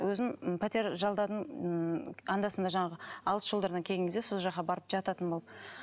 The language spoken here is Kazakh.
өзім пәтер жалдадым ммм анда санда жаңағы алыс жолдардан келген кезде сол жаққа барып жататын болып